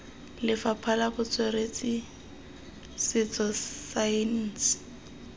lefapha la botsweretshi setso saense